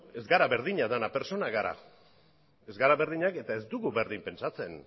ez gara berdinak denak pertsonak gara ez gara berdinak eta ez dugu berdin pentsatzen